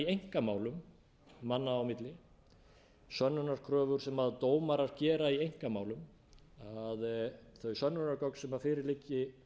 einkamálum manna á milli sönnunarkröfur sem dómarar gera í einkamálum þau sönnunargögn sem fyrir liggi